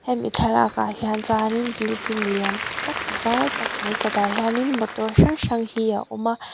hemi thlalakah hian chuan in building lian tak zau tak mai kawtah hian in motor hrang hrang hi a awm a.